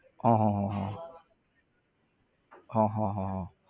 હા હા હા હા હા હા હા હા